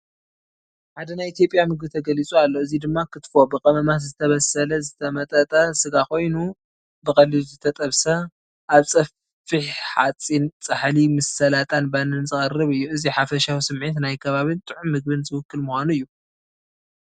ሓደ ናይ ኢትዮጵያ ምግቢ ተገሊፁ ኣሎ፣ እዚ ድማ... ኬትፎ፣ ብቐመማት ዝተበሰለ ዝተመጠጠ ስጋ ኮይኑ፡ ብቐሊሉ ዝተጠብሰ፡ ኣብ ጸፍሒ ሓጺን ጻሕሊ ምስ ሰላጣን ባኒን ዝቐርብ እዩ። እቲ ሓፈሻዊ ስምዒት ንናይ ከባቢን ጥዑምን ምግቢ ዝውክል ምዃኑ እዩ።